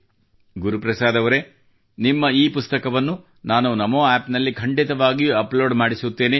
ಗುರುಪ್ರಸಾದ್ ಅವರೇ ನಿಮ್ಮ ಈ ಪುಸ್ತಕವನ್ನು ನಾನು NamoAppನಲ್ಲಿ ಖಂಡಿತವಾಗಿಯೂ ಅಪ್ಲೋಡ್ ಮಾಡಿಸುತ್ತೇನೆ